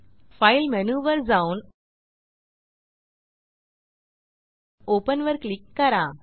file menu वर जाऊन open वर क्लिक करा